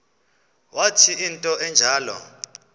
wathi into enjalo